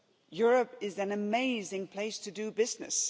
Europe is an amazing place to do business.